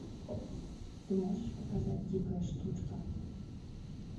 ты можешь показать дикая штучка